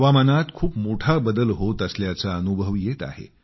हवामानात खूप मोठा बदल होत असल्याचा अनुभव येत आहे